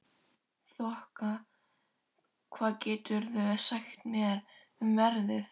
Þoka, hvað geturðu sagt mér um veðrið?